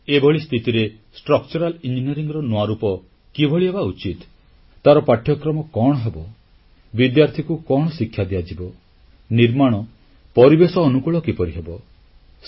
ଏଭଳି ସ୍ଥିତିରେ ଢାଂଚା ଇଞ୍ଜିନିୟରିଂStructural Engineeringର ନୂଆ ରୂପ କିଭଳି ହେବା ଉଚିତ ତାର ପାଠ୍ୟକ୍ରମ କଣ ହେବ ବିଦ୍ୟାର୍ଥୀକୁ କଣ ଶିକ୍ଷା ଦିଆଯିବ ନିର୍ମାଣ ପରିବେଶ ଅନୁକୂଳ କିପରି ହେବ